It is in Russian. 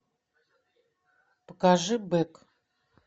покажи бэк